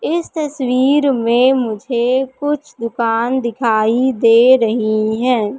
इस तस्वीर में मुझे कुछ दुकान दिखाई दे रही हैं।